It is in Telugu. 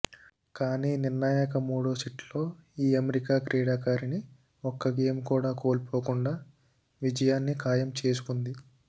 కానీ నిర్ణాయక మూడో సెట్లో ఈ అమెరికా క్రీడాకారిణి ఒక్క గేమ్ కూడా కోల్పోకుండా విజయాన్ని ఖాయం చేసుకుంది